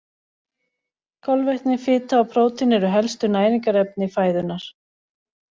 Kolvetni, fita og prótín eru helstu næringarefni fæðunnar.